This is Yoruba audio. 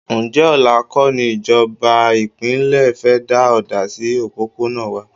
Ǹjẹ́ ọ̀la kọ́ ní ìjọba ìpínlẹ̀ fẹ́ da ọ̀dà sí òpópónà wà?